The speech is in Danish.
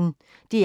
DR P1